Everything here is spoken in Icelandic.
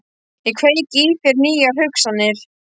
Ég kveiki í þér nýjar hugsanir.